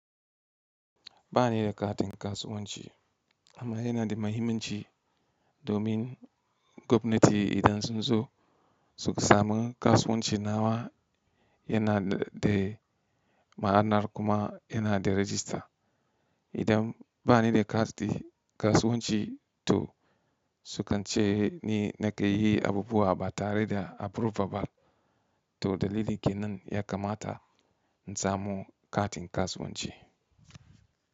Ba ni da katin kasuwanci amma yana da muhimmanci domin gwamnati idan sun zo su samu kasuwanci nawa yana da ma'anar kuma yana da rajista. Idan ba ni da kati kasuwanci to sukan ce ni na ke yi abubuwa ba tare da approval ba. To dalili kenan ya kamata in samu katin kasuwanci.